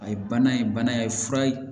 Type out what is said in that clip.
A ye bana in bana ye fura ye